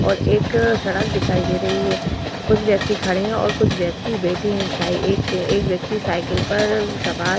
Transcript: और एक सड़क दिखाई दे रही है। कुछ व्यक्ति खड़े है और कुछ बैठे है। साइ एक एक व्यक्ति साइकिल पर सवार --